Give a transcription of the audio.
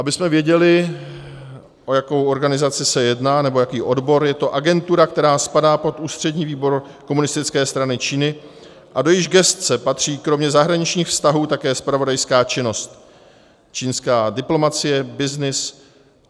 Abychom věděli, o jakou organizaci se jedná, nebo jaký odbor, je to agentura, která spadá pod Ústřední výbor Komunistické strany Číny a do jejíž gesce patří kromě zahraničních vztahů také zpravodajská činnost, čínská diplomacie, byznys.